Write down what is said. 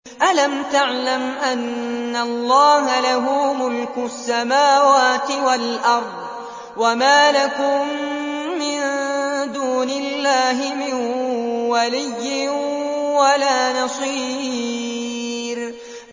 أَلَمْ تَعْلَمْ أَنَّ اللَّهَ لَهُ مُلْكُ السَّمَاوَاتِ وَالْأَرْضِ ۗ وَمَا لَكُم مِّن دُونِ اللَّهِ مِن وَلِيٍّ وَلَا نَصِيرٍ